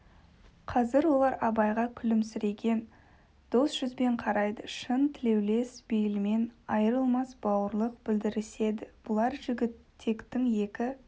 қазір олар абайға күлімсіреген дос жүзбен қарайды шын тілеулес бейілмен айрылмас бауырлық білдіріседі бұлар жігітектің екі